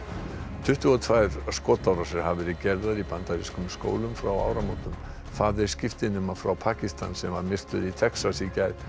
tuttugu og tvær skotárásir hafa verið gerðar í bandarískum skólum frá áramótum faðir skiptinema frá Pakistan sem var myrtur í Texas í gær